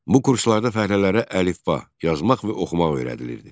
Bu kurslarda fəhlələrə əlifba, yazmaq və oxumaq öyrədilirdi.